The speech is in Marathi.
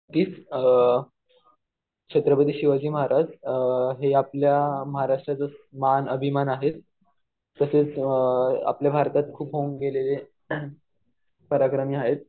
तेच छत्रपती शिवाजी महाराज हे आपल्या महाराष्ट्राचं मान अभिमान आहेत. तसेच आपल्या भारतात खूप होऊन गेलेले पराक्रमी आहेत.